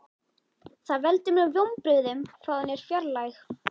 Það veldur mér vonbrigðum hvað hún er fjarlæg.